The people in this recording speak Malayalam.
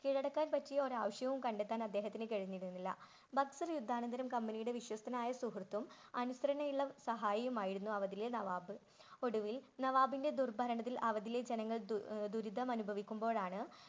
കീഴടക്കാൻ പറ്റിയ ഒരു ആവശ്യവും കണ്ടത്താൻ അദ്ദേഹത്തിന് കഴിഞ്ഞിരുന്നില്ല. യുദ്ധാനന്തരം കമ്പനിയുടെ വിശ്വസ്തനായ സുഹൃത്തും അനുസരണയുള്ള സഹായമായിരുന്നു അവദിലെ നവാബ്. ഒടുവിൽ നവാബിന്റെ ദുർഭരണത്തിൽ അവദിലെ ജനങ്ങൾ ദുരിതം അനുഭവിക്കുമ്പോഴാണ്.